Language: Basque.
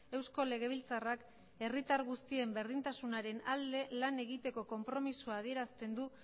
eusko legebiltzarrak herritar guztien berdintasunaren alde lan egiteko konpromisoa adierazten du